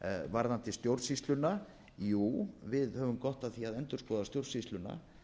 varðandi stjórnsýsluna jú við höfum gott af því að endurskoða stjórnsýsluna